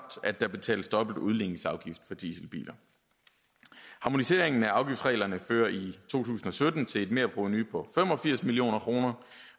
at der betales dobbelt udligningsafgift for dieselbiler harmoniseringen af afgiftsreglerne fører i to tusind og sytten til et merprovenu på fem og firs million kroner